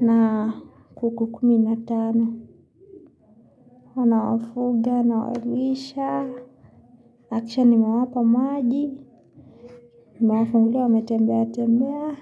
na kuku kumi natano, nawafuga, nawalisha, nahakikisha nimewapa maji, mawafungulia wametembea tembea.